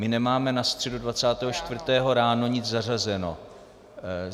My nemáme na středu 24. ráno nic zařazeno.